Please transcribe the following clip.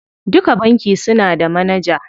Duka banki suna da manaja.